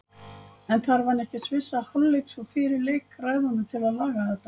En þarf hann ekki að svissa hálfleiks og fyrir leik ræðunum til að laga þetta?